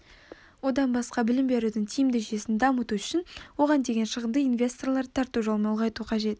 одан басқа білім берудің тиімді жүйесін дамыту үшін оған деген шығынды инвесторларды тарту жолымен ұлғайту қажет